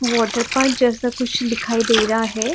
Water park जैसा कुछ दिखाई दे रहा है।